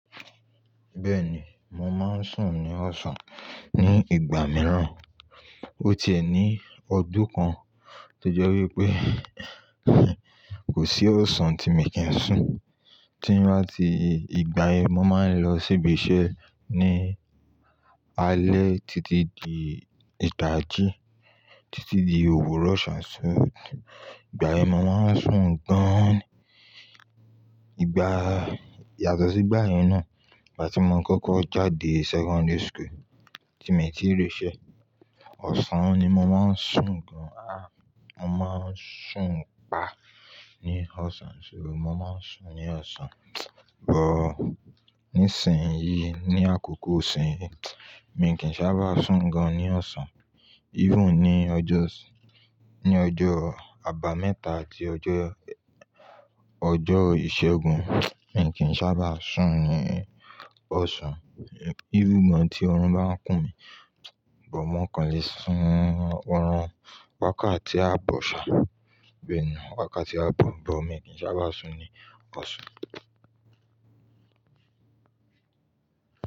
Bẹ́ẹ̀ni, mo máa ń sùn ní ọ̀sán. Ni ìgbà mìíràn, ó ti ẹ ní ọdún kan tó jẹ́ wípé kò sí ọ̀sán tí mi kì í sùn. Tí n bá ti ìgbà yẹn, mo máa ń lọ ṣíbí iṣẹ́ ní alẹ́ títí di idají, títí di òwúrọ̀ ṣá Ìgbà yẹn mo máa ń sùn gan-an ni. Ìgbà yàtọ̀ sí ìgbà yẹn náà, ìgbà tí mo kọ́kọ́ jáde secondary school, tí mi tí ń rí isẹ́, ọ̀sán ni mo máa ń sùn gan-an. À, mo máa ń sùn pa ní ọ̀sán, mo máa ń sùn ní ọ̀sán. Ní ìsìn yìí, ní àkókò iṣìn yìí, mi kì n sábà sùn gan-an ní ọ̀sán. Even ní ọjọ́, ní ọjọ́ àbámẹ́ta àti ọjọ́, ọjọ́ ìṣẹ́gun, mi kì í sábà sùn ní ọ̀sán. Even ìgbà tí oorun bá ń kù mí, bó mo kàn le sùn, oorun wákàtí á bọ̀ ṣà, bee ni wákàtí á bọ̀, bó mi kì í sábà sùn ní ọ̀sán.